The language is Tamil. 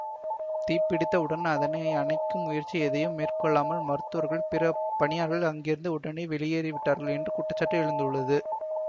தீப்பிடித்த உடன் அதனை அணைக்கும் முயற்சி எதையும் மேற்கொள்ளாமல் மருத்துவர்கள் பிற பணியாளர்கள் அங்கிருந்து உடனடியாக வெளியேறி விட்டார்கள் என்று குற்றச்சாட்டு எழுந்துள்ளது